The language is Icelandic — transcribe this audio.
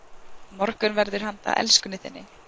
Morgunverður handa elskunni þinni